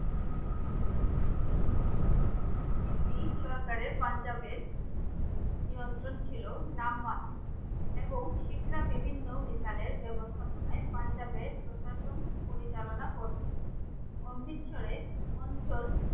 এই সরকারের পাঞ্জাবের নিয়ন্ত্রণ ছিল নামমাত্র এবং শিখরা বিভিন্ন মিশালের ব্যবস্থাপনায় পাঞ্জাবের প্রশাসন পরিচালনা করছে। অমৃতসরে অঞ্চল